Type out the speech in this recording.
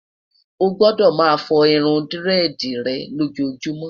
o gbọdọ má fo irún diredi rè lojumo'